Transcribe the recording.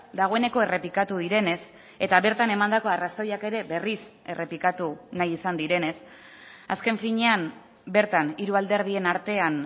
dagoeneko errepikatu direnez eta bertan emandako arrazoiak ere berriz errepikatu nahi izan direnez azken finean bertan hiru alderdien artean